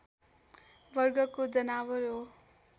वर्गको जनावर हो